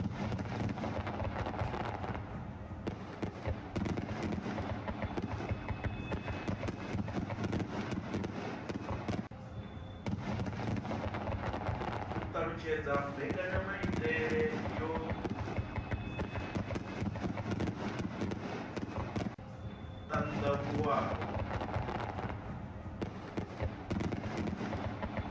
u alutshedza mbekanyamaitele yo anavhuwaho